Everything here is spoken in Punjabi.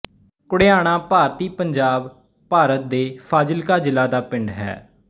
ਘੁੜਿਆਣਾ ਭਾਰਤੀ ਪੰਜਾਬ ਭਾਰਤ ਦੇ ਫ਼ਾਜ਼ਿਲਕਾ ਜ਼ਿਲ੍ਹਾ ਦਾ ਪਿੰਡ ਹੈ